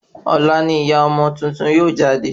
Ọ̀la ni ìyá ọmọ tuntun yóò jáde